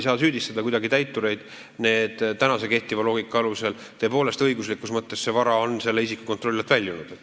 Ma ei saa kuidagi täitureid süüdistada – tõepoolest, õiguslikus mõttes on see vara selle isiku kontrolli alt väljunud.